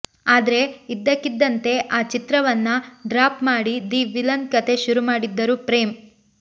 ಆದ್ರೆ ಇದ್ದಕ್ಕಿದಂತೆ ಆ ಚಿತ್ರವನ್ನ ಡ್ರಾಪ್ ಮಾಡಿ ದಿ ವಿಲನ್ ಕಥೆ ಶುರು ಮಾಡಿದ್ದರು ಪ್ರೇಮ್